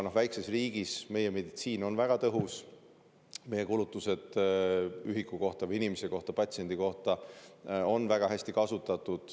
Meie väikses riigis on meditsiin väga tõhus, meie kulutused ühiku kohta või inimese kohta, patsiendi kohta on väga hästi kasutatud.